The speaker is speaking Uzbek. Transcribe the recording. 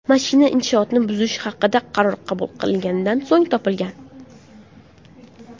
Mashina inshootni buzish haqida qaror qabul qilinganidan so‘ng topilgan.